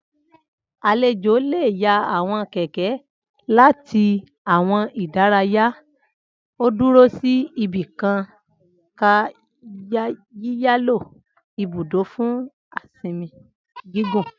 Alejo le ya awọn kẹkẹ lati awọn ìdárayá o duro si ibikan ká yiyalo ibudo fun a sinmi gigun.